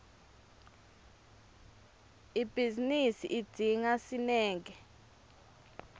ibhizinisi idzinga sineke